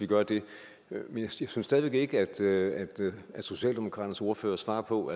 vi gør det men jeg synes stadig væk ikke at socialdemokratiets ordfører svarer på